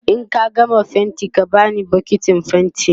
in ka gama faintin ka bani bukitin faintin